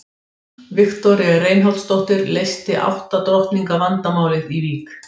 Viktoría Reinholdsdóttir leysti átta drottninga vandamálið í Vík.